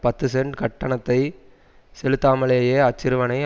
பத்துசென்ட் கட்டணத்தை செலுத்தாமலேயே அச்சிறுவனை